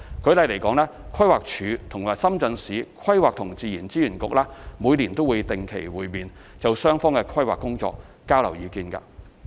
舉例來說，規劃署和深圳市規劃和自然資源局每年會定期會面，就雙方的規劃工作交換意見。